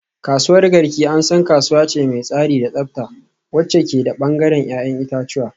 Kasuwar Garki an san kasuwa ce mai tsari da tsafta wacce ke da bangaren 'ya'yan itace